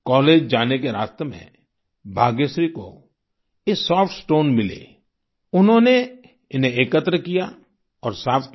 college जाने के रास्ते में भाग्यश्री को ये सॉफ्ट स्टोन्स मिले उन्होंने इन्हें एकत्र किया और साफ़ किया